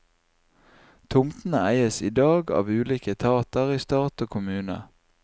Tomtene eies i dag av ulike etater i stat og kommune.